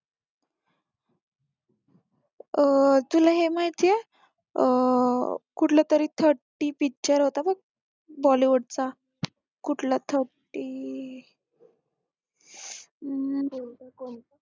अं तुला हे माहितीये अं कुठलातरी thirty picture होता बघ bollywood चा कुठला thirty